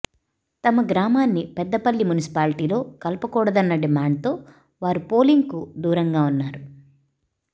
తమ గ్రామాన్ని పెద్దపల్లి మున్సిపాలిటీలో కలపకూడదన్న డిమాండ్ తో వారు పోలింగ్ కు దూరంగా ఉన్నారు